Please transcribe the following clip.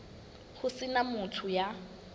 ho se na motho ya